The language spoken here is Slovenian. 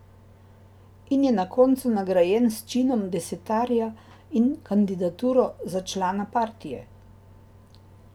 In je na koncu nagrajen s činom desetarja in kandidaturo za člana partije.